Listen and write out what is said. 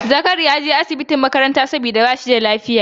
Zakari ya je asibitin makaranta saboda ba shi da lafiya